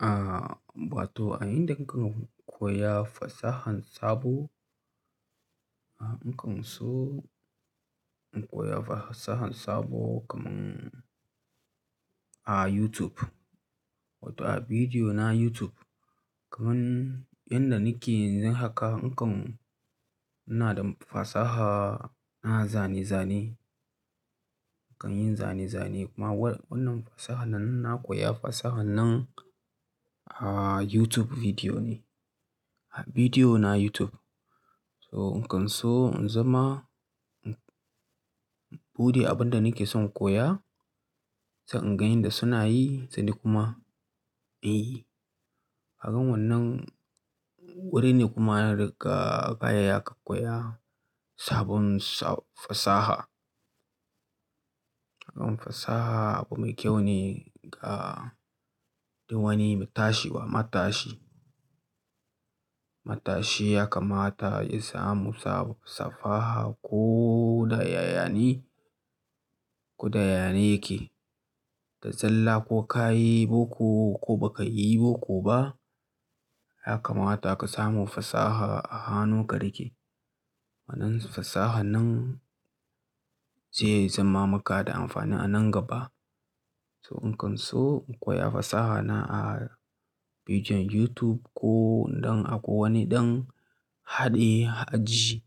Ah, ba to a inda kuka koya fasahan sabo. Ah, in kan so in koya fasahan sabo kaman a YouTube, wato a bidiyo na YouTube. Kaman inda nike yanzu haka, in kan ina da fasaha na zane-zane. Kan yin zane-zane kuma wannan fasaha nan sa'an nan koya fasaha nan a YouTube bidiyo ne, a bidiyo na YouTube. So in kan so in zama, in bude abin da nike son koya, sai in gani yadda suna yi, sai ni kuma beyi. Ka ga wannan wuri ne kuma daga baya ka koya sabon sa- fasaha. Sabon fasaha abu mai kyau ne ga duk wani matashi ba matashi. Matashi ya kamata ya samu sab fasaha ko da yaya ne, ko da yaya ne yake. Ga sallah ko ka yi boko ko ba ka yi boko ba, ya kamata ka samu fasaha a hanun ka rike. Wannan fasaha nan zai zama maka da amfani a nan gaba. So in kan so in koya fasaha nan a bijin YouTube ko don ako wani ɗan haɗe aji.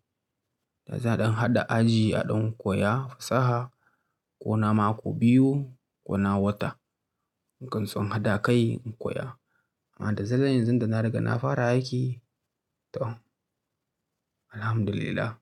Da za a ɗan haɗa aji a ɗan koya fasaha ko na mako biyu ko na wata. In kan son haɗa kai in koya. Amma da zaran yanzu da na riga na fara aiki. To, alhamdulillah.